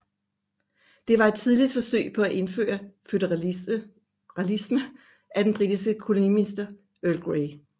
Det var et tidligt forsøg på indføre føderalisme af den britiske koloniminister Earl Grey